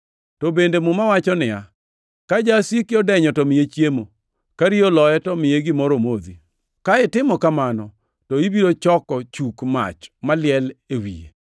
To bende Muma wacho niya, “Ka jasiki odenyo, to miye chiemo; ka riyo oloye, to miye gimoro omodhi, ka itimo kamano, ibiro choko chuk mach maliel e wiye.” + 12:20 \+xt Nge 25:21,22\+xt*